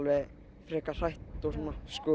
frekar hrætt og svona